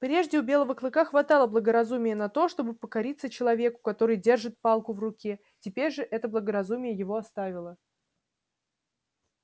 прежде у белого клыка хватало благоразумия на то чтобы покориться человеку который держит палку в руке теперь же это благоразумие его оставило